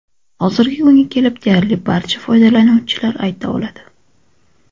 Hozirgi kunga kelib deyarli barcha foydalanuvchilar ayta oladi.